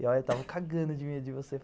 E eu estava cagando de medo de você.